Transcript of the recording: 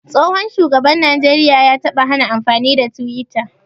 Tsohon shugaban najeriya ya taɓa hana amfani da twitter.